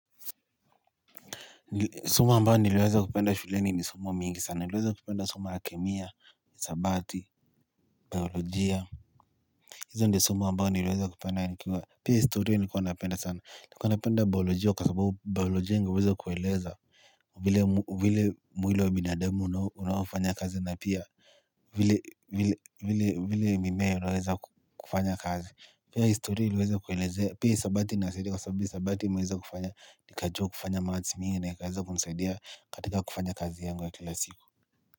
Somo ambayo niliweza kupenda shuleni ni somo mingi sana, niliweza kupenda somo la kemia, isabati, biologia hizo ndio somo ambayo niliweza kupenda nikiwa, pia historia nikuwa napenda sana, nilikuwa napenda biologia kwa sababu biologia ningeweza kueleza vile mwili wa binadamu unaofanya kazi na pia, vile mimea unaweza kufanya kazi pia historia iliweza kuelezea pia isabati inasaidia kwa sababu isabati imeweza kufanya nikajua kufanya maths mingi naikaweza kunisaidia katika kufanya kazi yangu ya kila siku.